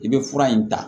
I bɛ fura in ta